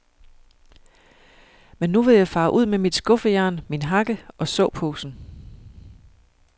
Men nu vil jeg fare ud med mit skuffejern, min hakke og såposen.